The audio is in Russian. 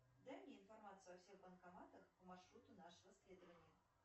дай мне информацию о всех банкоматах по маршруту нашего следования